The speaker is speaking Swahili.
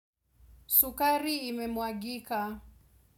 Sukari imemwagika.